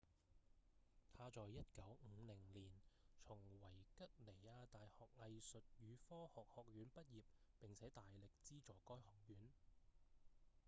他在1950年從維吉尼亞大學藝術與科學學院畢業並且大力資助該學院